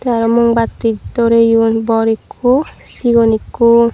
te arow mombatti doreyon bor ikko sigon ikko.